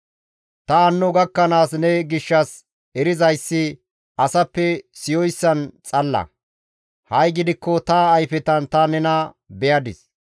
Ta hanno gakkanaas ne gishshas erizayssi asappe siyoyssan xalla; ha7i gidikko ta ayfetan ta nena beyadis.